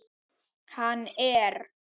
Hann er.